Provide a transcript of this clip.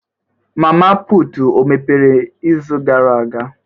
Mama putụ̀ o mepere izu gara aga?